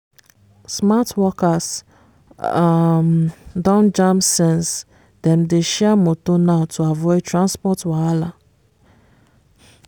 smart workers um don jam sense dem dey share moto now to avoid transport wahala.